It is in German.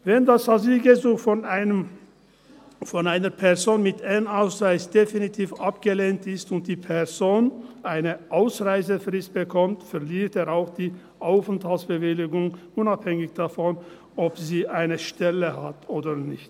Wenn das Asylgesuch von einer Person mit N-Ausweis definitiv abgelehnt ist und die Person eine Ausreisefrist bekommt, verliert sie auch die Arbeitsbewilligung, unabhängig davon, ob sie eine Stelle hat oder nicht.